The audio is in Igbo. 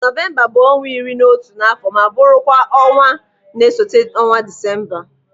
Nọvemba bụ ọnwa iri na otu n'afọ m bụrụ kwa ọnwa na-esote ọnwa Disemba.